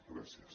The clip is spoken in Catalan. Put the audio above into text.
gràcies